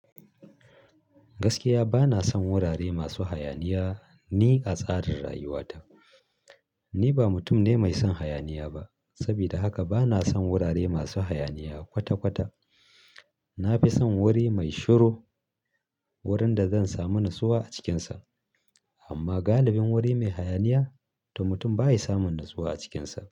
Gaskiya bana son wurare masu hayaniya ni a tsarin rayuwata. Ni ba mutum ne mai son hayaniya ba, sabida haka bana son wurare masu hayaniya kwata-kwata. Na fi son wuri mai shiru wurin da zan samu natsuwa a cikinsa. Amma galibin wuri mai hayaniya to mutum ba yi samun natsuwa a cikinsa.